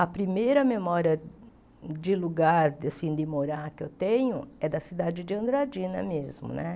A primeira memória de lugar, assim, de morar que eu tenho é da cidade de Andradina mesmo, né?